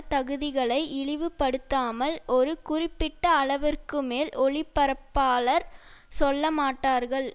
தகுதிகளை இழிவுபடுத்தாமல் ஒரு குறிப்பிட்ட அளவிற்குமேல் ஒலிபரப்பாளர் சொல்லமாட்டார்கள்